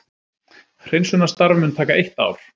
Hreinsunarstarf mun taka eitt ár